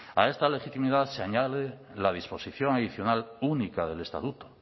a esta legitimidad se añade la disposición adicional única del estatuto